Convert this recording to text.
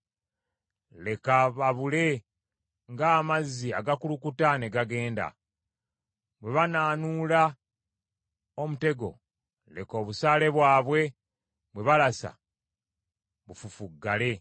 Leka babule ng’amazzi agakulukuta ne gagenda. Bwe banaanuula omutego, leka obusaale bwabwe bwe balasa bufufuggale.